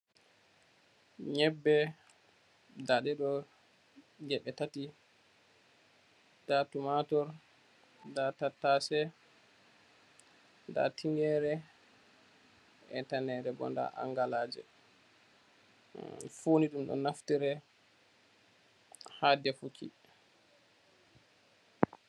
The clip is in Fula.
Nyebbe, nda ɗe ɗo geɓe tati. Nda tumatur, nda tattaase, nda tingere e tane nden bo nda angalaaje. Fuuni ɗum ɗo naftire haa defuki.